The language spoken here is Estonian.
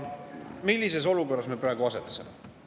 Millises olukorras me praegu asetseme?